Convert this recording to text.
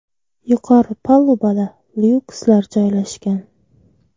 Yuqori palubada lyukslar joylashgan.